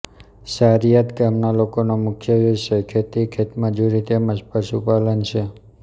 સારીયાદ ગામના લોકોનો મુખ્ય વ્યવસાય ખેતી ખેતમજૂરી તેમ જ પશુપાલન છે